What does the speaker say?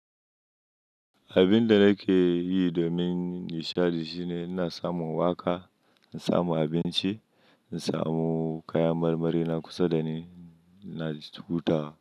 Abin da nake yi domin nishaɗi shine ina samun waƙa, na samu abinci, na samu kayan marmari na kusa da ni, ina cuta.